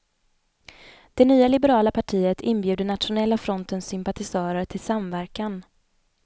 Det nya liberala partiet inbjuder nationella frontens sympatisörer till samverkan.